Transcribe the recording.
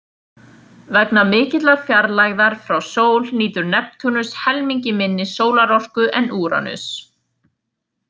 Vegna mikillar fjarlægðar frá sól nýtur Neptúnus helmingi minni sólarorku en Úranus.